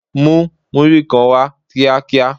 Mú múrí kan wá kíá kíá!